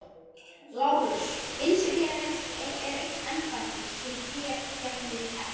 LÁRUS: Innsiglið er eign embættis sem þér gegnið ekki.